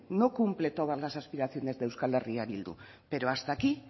no cumple todas las aspiraciones de euskal herria bildu pero hasta aquí